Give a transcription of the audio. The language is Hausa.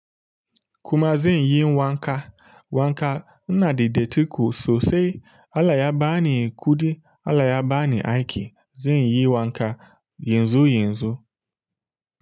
Kuma zan yi wanka. Wanka ina da datti ko sosai Allah ya bani kuɗi Allah ya bani aiki. Zan yi wanka yanzu yanzu.